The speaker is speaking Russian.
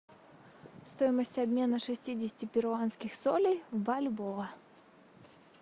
стоимость обмена шестидесяти перуанских солей в бальбоа